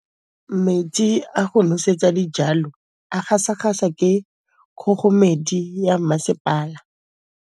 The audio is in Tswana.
Metsi a go nosetsa dijalo a gasa gasa ke kgogomedi ya masepala.